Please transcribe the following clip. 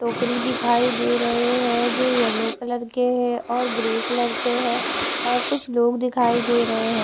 टोकरी दिखाई दे रहे हैं जो यल्लो कलर के है और ग्रे कलर के है और कुछ लोग दिखाई दे रहे हैं।